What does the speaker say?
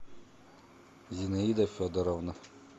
зинаида федоровна